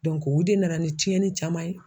o de nana ni tiɲɛni caman ye.